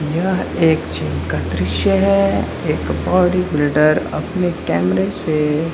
यह एक जिम का दृश्य है एक बॉडी-बिल्डर अपने कैमरे से --